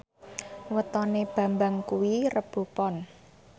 wetone Bambang kuwi Rebo Pon